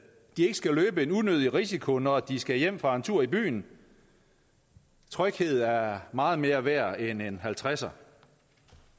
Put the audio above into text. skal løbe en unødig risiko når de skal hjem fra en tur i byen tryghed er meget mere værd end en halvtreds